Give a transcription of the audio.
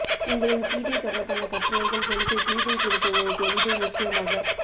உங்களின் கீதை தொடர்பான கட்டுரைகள் எனக்கு கீதை குறித்த ஒரு தெளிவை நிச்சயமாக